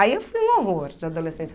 Aí eu fui um horror de adolescência.